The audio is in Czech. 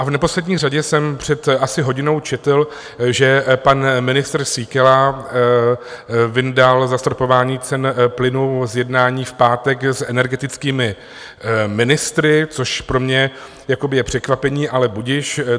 A v neposlední řadě jsem před asi hodinou četl, že pan ministr Síkela vyndal zastropování cen plynu z jednání v pátek s energetickými ministry, což pro mě je překvapení, ale budiž.